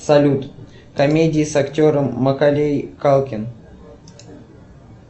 салют комедии с актером маколей калкин